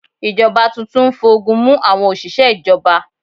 Ìjọba tuntun ń fogun mú àwọn òṣìṣẹ́ ìjọba.